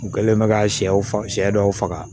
U kɛlen bɛ ka sɛw faga sɛ dɔw faga